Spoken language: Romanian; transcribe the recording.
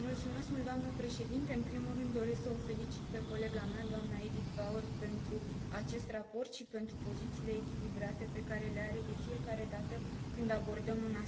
În primul rând doresc să o felicit pe colega mea, doamna Edith Bauer, pentru acest raport și pentru pozițiile echilibrate pe care le adoptă de fiecare dată când abordăm un asemenea subiect.